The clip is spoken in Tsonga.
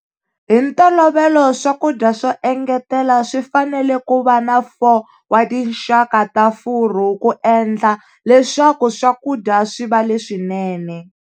Hi ntolovelo swakudya swo engetela swi fanele ku va na 4 wa tinxaka ta furu ku endla leswaku swakudya swi va leswi nene.